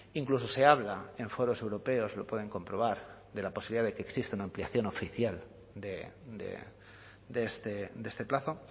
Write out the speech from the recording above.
incluso se habla en foros europeos lo pueden comprobar de la posibilidad de que exista una ampliación oficial de este plazo